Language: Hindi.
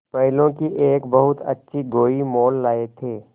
बैलों की एक बहुत अच्छी गोई मोल लाये थे